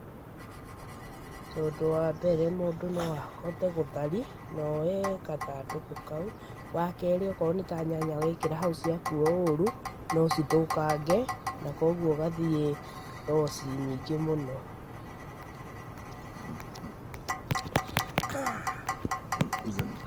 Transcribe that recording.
Tondũ wa mbere mũndũ no ahote gũthari na ooe gathandũkũ kau. Wakerĩ o korũo nĩ ta nyanya wekĩra hau cia kuo ũru no cithũkange na kwoguo ũgathiĩ loss nyingĩ mũno.